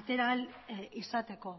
atera ahal izateko